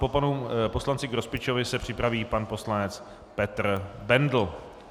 Po panu poslanci Grospičovi se připraví pan poslanec Petr Bendl.